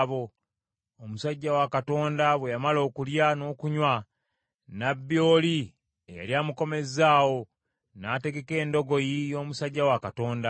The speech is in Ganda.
Omusajja wa Katonda bwe yamala okulya n’okunywa, nnabbi oli eyali amukomezzaawo, n’ategeka endogoyi y’omusajja wa Katonda.